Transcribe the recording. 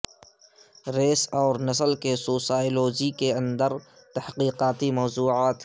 race اور نسل کے سوسائولوجی کے اندر تحقیقاتی موضوعات